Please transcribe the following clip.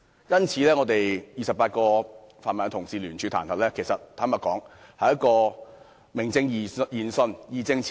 因此，我們28名泛民同事聯署彈劾是名正言順的。